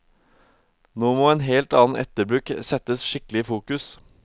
Nå må en helt annen etterbruk settes skikkelig i fokus.